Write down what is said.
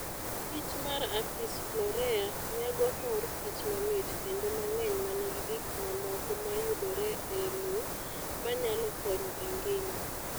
Kich mar apis florea nyago mor kich mamit kendo mang'eny manigi gik mamoko mayudore e lowo manyalo konyo e ngima.